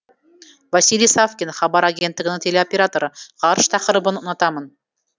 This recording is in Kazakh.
василий савкин хабар агенттігінің телеоператоры ғарыш тақырыбын ұнатамын